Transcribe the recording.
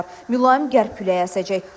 Mülayim qərb küləyi əsəcək.